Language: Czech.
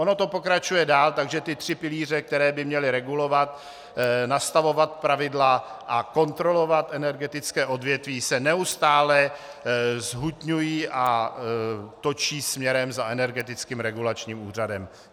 Ono to pokračuje dál, takže ty tři pilíře, které by měly regulovat, nastavovat pravidla a kontrolovat energetické odvětví, se neustále zhutňují a točí směrem za Energetickým regulačním úřadem.